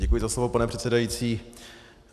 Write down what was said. Děkuji za slovo, pane předsedající.